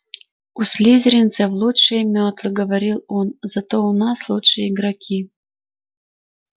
у слизеринцев лучшие мётлы говорил он зато у нас лучшие игроки